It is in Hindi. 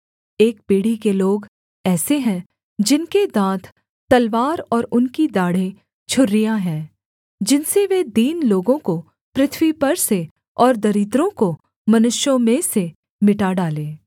एक पीढ़ी के लोग ऐसे हैं जिनके दाँत तलवार और उनकी दाढ़ें छुरियाँ हैं जिनसे वे दीन लोगों को पृथ्वी पर से और दरिद्रों को मनुष्यों में से मिटा डालें